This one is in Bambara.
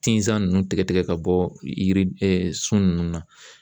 Tinsan ninnu tigɛ ka bɔ yiri sun ninnu na